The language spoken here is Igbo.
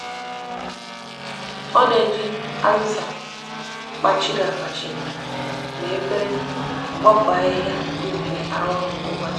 o n'eji aziza kpachiri akpachi na efere nkpofu ahihia di nfe aru oru kwa ubochi.